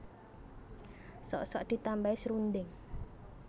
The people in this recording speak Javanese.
Sok sok ditambahi srundeng